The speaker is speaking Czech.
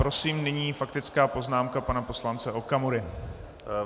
Prosím, nyní faktická poznámka pana poslance Okamury.